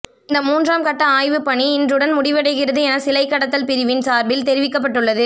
இந்த மூன்றாம் கட்ட ஆய்வுப்பணி இன்றுடன் முடிவடைகிறது என சிலை கடத்தல் பிரிவின் சார்பில் தெரிவிக்கப்பட்டுள்ளது